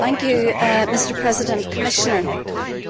Mr President,